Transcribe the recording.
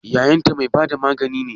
Yayanta mai bada magani ne?